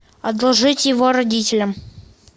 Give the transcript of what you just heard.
одолжить его родителям